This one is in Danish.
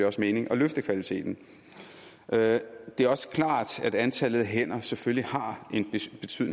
også mening at løfte kvaliteten det er også klart at antallet af hænder selvfølgelig har